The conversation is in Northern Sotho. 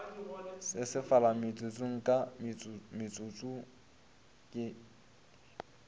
sesefala motsotso ka motsotso ke